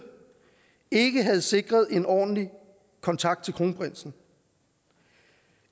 ikke havde sikret en ordentlig kontakt til kronprinsen